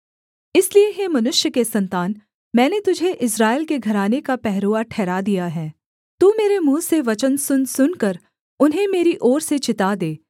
इसलिए हे मनुष्य के सन्तान मैंने तुझे इस्राएल के घराने का पहरुआ ठहरा दिया है तू मेरे मुँह से वचन सुनसुनकर उन्हें मेरी ओर से चिता दे